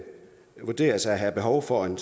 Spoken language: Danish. vurderes at have behov for en